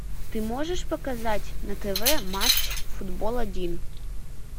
ты можешь показать на тв матч футбол один